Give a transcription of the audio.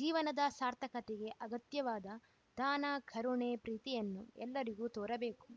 ಜೀವನದ ಸಾರ್ಥಕತೆಗೆ ಅಗತ್ಯವಾದ ದಾನ ಕರುಣೆ ಪ್ರೀತಿಯನ್ನು ಎಲ್ಲರಿಗೂ ತೋರಬೇಕು